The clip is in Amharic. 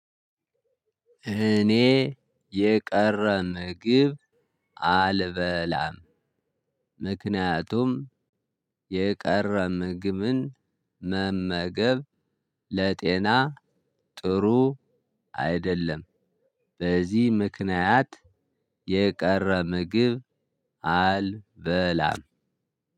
እኔ የቀረ ምግብ አልበላም። ምክንያቱም የቀረ ምግብን መመገብ ለጤና ጥሩ አይደለም። በዚህ ምክንያት የቀረ ምግብ አልበላም።